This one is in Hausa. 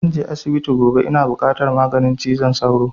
Zan je asibiti gobe, ina buƙatar maganin zazzaɓi cizon sauro